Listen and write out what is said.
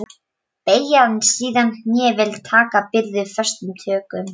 Beygja síðan hné vel og taka byrðina föstum tökum.